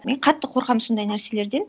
мен қатты қорқамын сондай нәрселерден